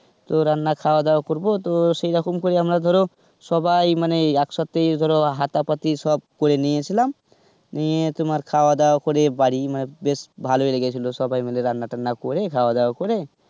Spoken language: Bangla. রান্না খাওয়া দাওয়া করবো. তো সেই রকম করে আমরা ধরো সবাই মানে একসাথে ধরো হাতা পাতি সব করে নিয়ে গেছিলাম. নিয়ে তোমার খাওয়া দাওয়া করে বাড়ির বেশ ভালোই লেগেছিলো সবাই মিলে রান্না টান্না করে খাওয়া দাওয়া করে,